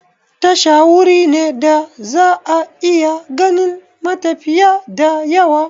Tasha wuri ne da za'a iya ganin matafiya da yawa